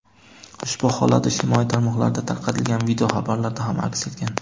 Ushbu holat ijtimoiy tarmoqlarda tarqatilgan video xabarlarda ham aks etgan.